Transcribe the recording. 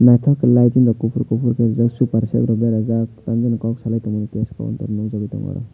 naitok ke light swngjak kopor kopor ke jang super set rok beraijak tam jani kok salai tangmani cash counter nogjagoi tango oro.